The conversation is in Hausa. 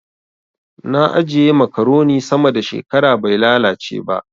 Na ajiye makaroni sama da shekara bai lalace ba.